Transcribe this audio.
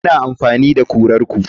Ina amfani da kurar ku.